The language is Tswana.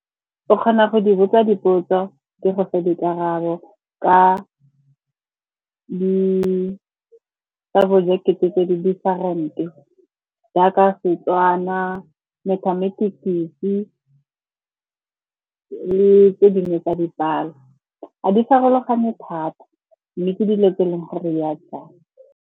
Ke kgona go di botsa dipotso, di go fe dikarabo ka di-subject-e tse di different-e jaaka Setswana, Mathematics-e le tse dingwe tsa dipalo. Ga di farologane thata, mme ke dilo tse e leng gore di a tshwana.